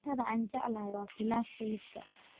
Cuntada aan jeclahay waa pilaf hilibka.